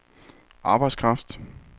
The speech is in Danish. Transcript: arbejdskraft